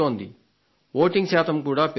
voting శాతం కూడా పెరుగుతోంది